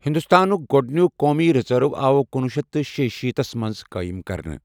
ہِنٛدوستانُك گۄڈنِیك قومی رِزرٕو آو کُنۄہ شیتھ تہٕ شیشیٖتھ تھس منٛز قٲیِم کرنہٕ۔